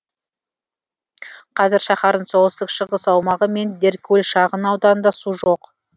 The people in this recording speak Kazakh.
қазір шаһардың солтүстік шығыс аумағы мен деркөл шағын ауданында су жоқ